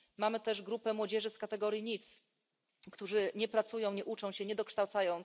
Mamy też grupę młodzieży z kategorii NEET, którzy nie pracują, nie uczą się, nie dokształcają.